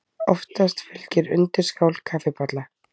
Oftast fylgir undirskál kaffibolla.